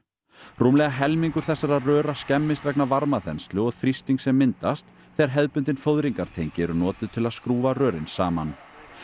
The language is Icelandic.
rúmlega helmingur þessara skemmist vegna varmaþenslu og þrýstings sem myndast þegar hefðbundin eru notuð til að skrúfa rörin saman